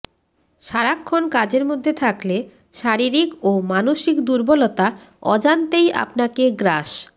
সারাক্ষণ কাজের মধ্যে থাকলে শারীরিক ও মানসিক দুর্বলতা অজান্তেই আপনাকে গ্রাস